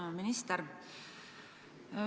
Hea minister!